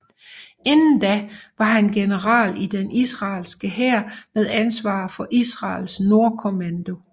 Inden da var han general i den israelske hær med ansvar for Israels Nordkommando